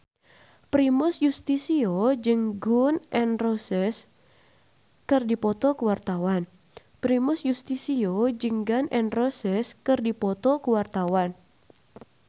Primus Yustisio jeung Gun N Roses keur dipoto ku wartawan